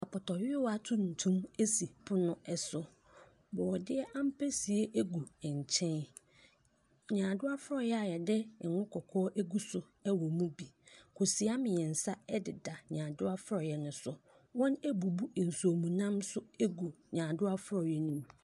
Apɔtɔwia tuntum esi pono ɛso. Brɔdeɛ ampesie egu ɛnkyɛn. Nyaadoa frɔyɛ a yɛde nwo kɔkɔɔ ɛguso ɛwɔ mu bi. Kosua mmiɛnsa ɛdeda nyaadoa frɔyɛ no so. Wɔn ɛbubu nsuomunam ɛnso egu nyaadoa frɔyɛ no mu.